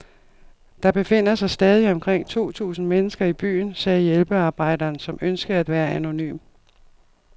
Der befinder sig stadig omkring to tusind mennesker i byen, sagde hjælpearbejderen, som ønskede at være anonym.